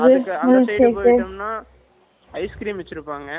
Andha side poitomna , ice cream வச்சிருப்பாங்க